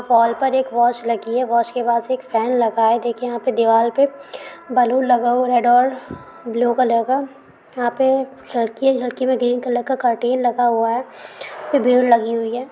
Wall पर एक watch लगी है। वॉच के बाद फेन लगा है। देखिये यहाँ पे दीवार पे बलुन लगा हुआ रेड और ब्लू कलर का । यहाँ पे खिड़की है खिड़की पे ग्रीन कलर का करटेन लगा हुआ है। भीड़ लगी हुई है।